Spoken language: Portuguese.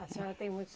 A senhora tem muitos.